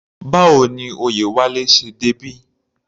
Báwo ni Oyewale ṣe débí?